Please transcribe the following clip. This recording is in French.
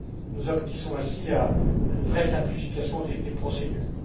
Nous aboutissons ainsi à une vraie simplification des procédures.